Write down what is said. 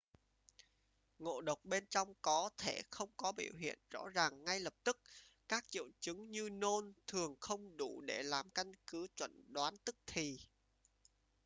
ngộ độc bên trong có thể không có biểu hiện rõ ràng ngay lập tức các triệu chứng như nôn thường không đủ để làm căn cứ chẩn đoán tức thì